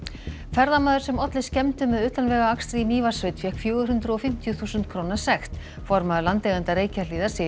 ferðamaður sem olli skemmdum með utanvegaakstri í Mývatnssveit fékk fjögur hundruð og fimmtíu þúsund króna sekt formaður landeigenda Reykjahlíðar segir